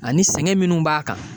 Ani sɛgɛn minnu b'a kan